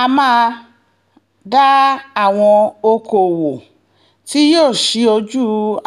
a máa dá àwọn ọkọ̀ọ́wọ́ tí yóò ṣí ojú